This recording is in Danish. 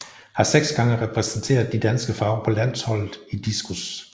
Har seks gange repræsenteret de danske farver på landsholdet i diskos